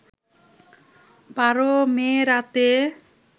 ১২ May রাতে